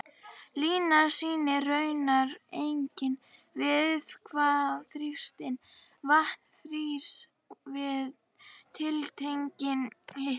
Línan sýnir raunar einnig við hvaða þrýsting vatn frýs við tiltekinn hita.